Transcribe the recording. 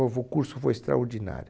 O novo curso foi extraordinário.